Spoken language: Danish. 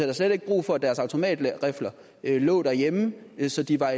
da slet ikke brug for at deres automatrifler lå derhjemme så de var